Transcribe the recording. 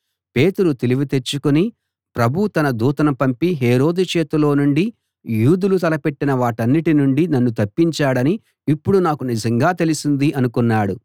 పేతురు తెలివి తెచ్చుకుని ప్రభువు తన దూతను పంపి హేరోదు చేతిలో నుండి యూదులు తలపెట్టిన వాటన్నిటి నుండీ నన్ను తప్పించాడని ఇప్పుడు నాకు నిజంగా తెలిసింది అనుకున్నాడు